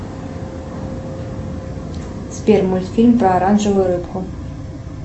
сбер мультфильм про оранжевую рыбку